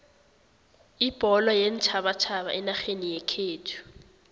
ibholo yeentjhabatjhaba enarheni yekhethu